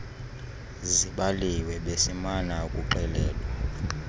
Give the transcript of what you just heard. zibaliwe besimana ukuxelelwa